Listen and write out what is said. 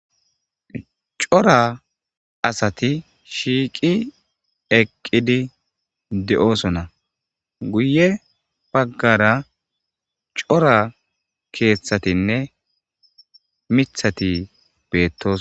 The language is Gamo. Cora asati shiiqi eqqidi de'osona guye baggara cora keeththatinne mithati beettos.